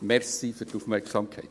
Danke für die Aufmerksamkeit.